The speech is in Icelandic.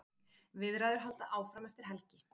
Viðræður halda áfram eftir helgi.